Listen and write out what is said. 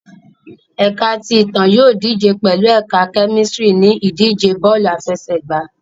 Ẹka ti Itan yóò dije pẹlu Ẹka Kemistri ni idije bọọlu afẹsẹgba